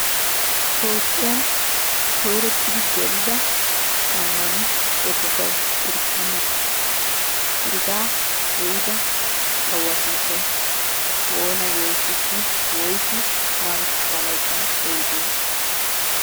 Toophphiyan koyrottidi gelida ammano eqqotay kirsttinaa hegaa ehiida kawuwa sunttay oona getetti woysu maarotettaa layttan eyiide?